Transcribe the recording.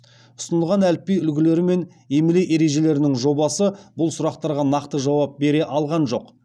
ұсынылған әліпби үлгілері мен емле ережелерінің жобасы бұл сұрақтарға нақты жауап бере алған жоқ